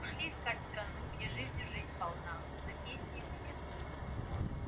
ушли искать страну где жизнью жизнь полна за песней вслед